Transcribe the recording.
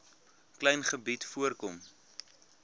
klein gebied voorkom